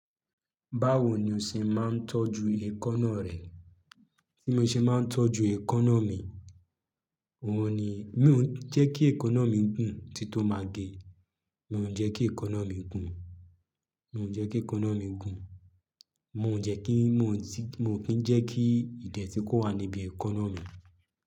Báwo ni o ṣe máa ń tọ́jú ẹkọ́nọ̀ rẹ? Bí mo ṣe máa ń tọ́jú ẹkọ́nọ̀ mi, òun ni, mí ò jẹ́ kí ẹkọ́nọ̀ mi gùn ti tó máa ge. Mi ò jẹ́ kí ẹkọ́nọ̀ mi gùn, mi ò jẹ́ kí ẹkọ́nọ̀ mi gùn. Mo ò jẹ́ kí, mo ò kí ń jẹ́ kí ìdẹ̀tí kó wà níbi ẹkọ́nọ̀ mi.